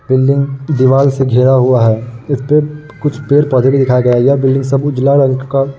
building दीवाल से घेरा हुआ है इसपे कुछ पेड़-पौधे भी दिखाए गए है यह बिल्डिंग सब का --